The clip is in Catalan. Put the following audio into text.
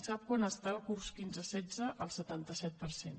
sap a quant està el curs quinze setze al setanta set per cent